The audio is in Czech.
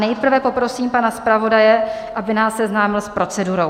Nejprve poprosím pana zpravodaje, aby nás seznámil s procedurou.